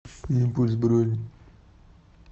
импульс бронь